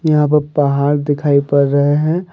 यहां पर पहाड़ दिखाई पड़ रहे हैं।